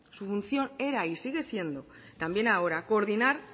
su función era y sigue siendo también ahora coordinar